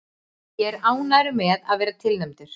Ég er ánægður með að vera tilnefndur.